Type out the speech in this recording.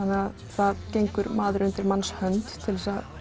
það gengur maður undir manns hönd til þess að